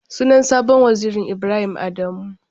Sunan sabon wazirin Ibrahim Adamu.